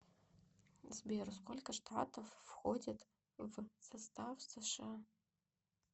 сбер сколько штатов входят в состав сша